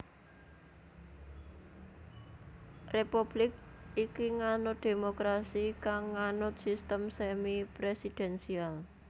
Republik iki nganut dhémokrasi kang nganut sistem semi presidensial